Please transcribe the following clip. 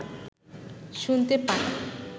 শুনতে পান